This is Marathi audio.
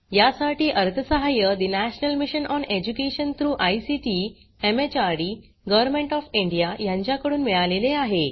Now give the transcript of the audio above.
यासाठी अर्थसहाय्य national mission on education through ICT MHRD government of India यांच्याकडून मिळालेले आहे